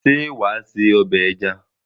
Ṣé wà á sé ọbẹ̀ ẹja?